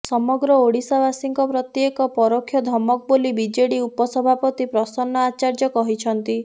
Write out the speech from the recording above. ସମଗ୍ର ଓଡ଼ିଶାବାସୀଙ୍କ ପ୍ରତି ଏକ ପରୋକ୍ଷ ଧମକ ବୋଲି ବିଜେଡି ଉପସଭାପତି ପ୍ରସନ୍ନ ଆଚାର୍ଯ୍ୟ କହିଛନ୍ତି